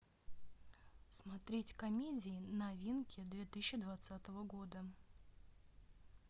смотреть комедии новинки две тысячи двадцатого года